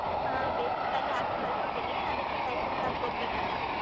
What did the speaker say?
ಹಾ basic tally ಆಗ್ಲೆ ಕಲ್ತಿದಿನಿ ಅದಿಕ್ಕೆ typing class ಗ್ ಹೋಗ್ಬೇಕಂತ.